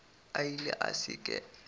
a ile a se ke